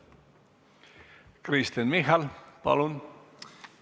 Kristen Michal, palun!